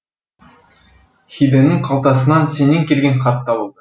хидэнің қалтасынан сенен келген хат табылды